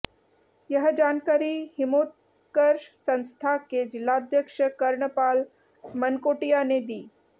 यह जानकारी हिमोत्कर्ष संस्था के जिलाध्यक्ष कर्णपाल मनकोटिया ने दी